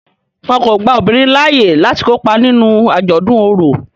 Wón kò gbà obinrin laaye lati kopa nínú ajọdun ọrọ.